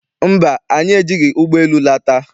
Mba, anyị ejighị ụgbọ elu lata.